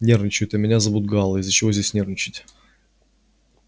нервничают а меня зовут гаал из-за чего же здесь нервничать